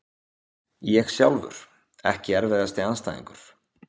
ég sjálfur Ekki erfiðasti andstæðingur?